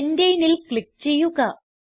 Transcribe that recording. pentaneൽ click ചെയ്യുക